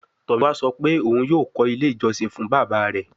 Tomiwa sọ pe oun yoo kọ ile ijọsin fun baba rẹ